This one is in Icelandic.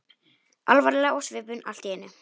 Alvarleg á svipinn allt í einu.